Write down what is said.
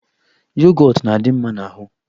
Yogọt na-adị mma n'ahụ.